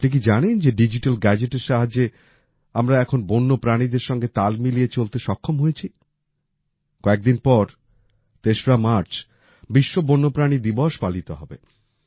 কিন্তু আপনি কি জানেন যে ডিজিটাল গ্যাজেটের সাহায্যে আমরা এখন বন্য প্রাণীদের সঙ্গে তাল মিলিয়ে চলতে সক্ষম হয়েছি কয়েকদিন পর ৩ মার্চ বিশ্ব বন্যপ্রাণী দিবস পালিত হবে